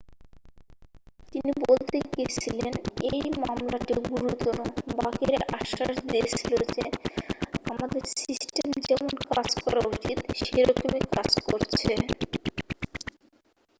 "তিনি বলতে গিয়েছিলেন,""এই মামলাটি গুরুতর। বাকিরা আশ্বাস দিয়েছিল যে আমাদের সিস্টেম যেমন কাজ করা উচিত সেরকম ই কাজ করছে।""